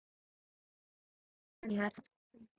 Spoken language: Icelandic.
Skarðið er hennar.